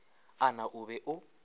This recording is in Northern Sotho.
a na o be o